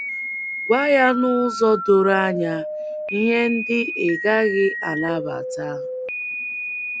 Gwa ya n’ụzọ doro anya ihe ndị ị gaghị anabata.